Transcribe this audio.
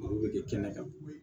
Olu bɛ kɛ kɛnɛ kan